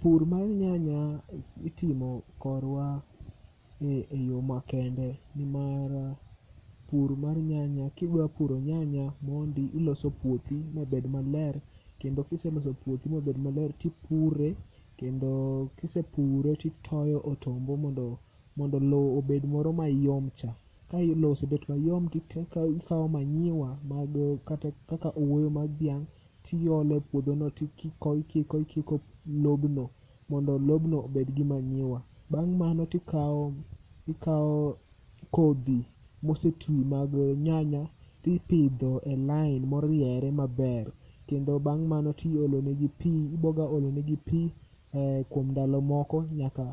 Pur mar nyanya itimo korwa e yo makende. Nimar pur mar nyanya kidwa puro nyanya mondi iloso puothi mabed maler, tipure kendo kisepure titoyo otombo mondo lo obed moro mayom cha. Ka lo osebet mayom tite tikawo manyiwa mag kata kaka owuoyo mag dhiang', tiolo e puodho no tikiko ikiko lobno mondo lobno obed gi manyiwa. Bang' mano tikawo kodhi mosetwi mag nyanya tipidho e lain moriere maber. Kendo bang' mano tiolonegi pi, iboga olonegi pi kuom ndalo moko nyaka